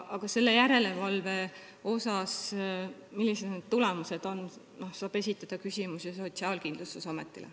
Aga järelevalve kohta, selle kohta, millised need tulemused on, saab esitada küsimusi Sotsiaalkindlustusametile.